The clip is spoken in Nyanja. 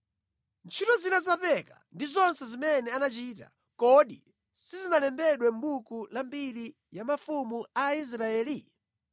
Ntchito zina za Peka ndi zonse zimene anachita, kodi sizinalembedwe mʼbuku la mbiri ya mafumu a Israeli?